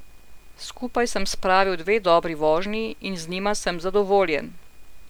Skupaj sem spravil dve dobri vožnji in z njima sem zadovoljen.